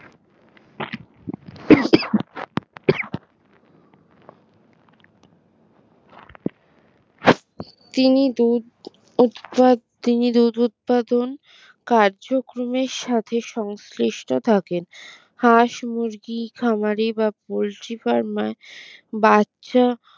তিনি দুধ উৎপা তিনি দুধ উৎপাদন কার্যক্রমের সাথে সংশ্লিষ্ট থাকেন হাঁস মুরগি খামারে বা পোল্ট্রি ফার্ম এ বাচ্চা